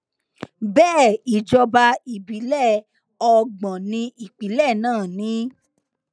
bẹẹ ìjọba ìbílẹ ọgbọn ní ìpínlẹ náà ni